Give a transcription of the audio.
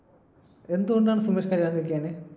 എന്ത് കൊണ്ടാണ് സുമേഷ് കല്യാണം കഴിക്കാഞ്ഞേ